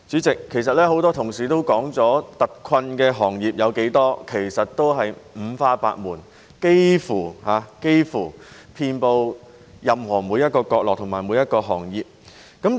代理主席，很多同事指出特困行業是五花八門，幾乎遍布每個角落及每個行業。